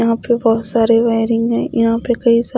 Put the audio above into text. यहां पे बहुत सारे वायरिंग हैं यहां पे कई सा--